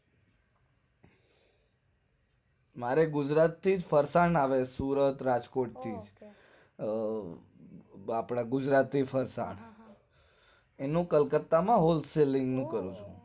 મારે ગુજરાત થીજ ફરસાણ આવે સુરત રાજકોટ થી આપણા ગુજરાતી ફરસાણ એનું કલકત્તા માં wholesale નું કરું છુ